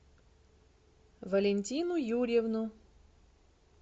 валентину юрьевну